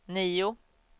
nio